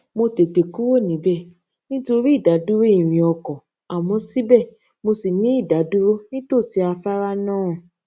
mo tètè kúrò níbè nítorí ìdádúró ìrìnn ọkò àmó sibe mo ṣì ni idadúró nítòsí afárá náà